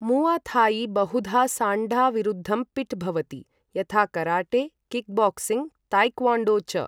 मुआ थाई बहुधा साण्डा विरुद्धं पिट् भवति, यथा कराटे, किकबॉक्सिंग, ताएक्वॉन्डो च।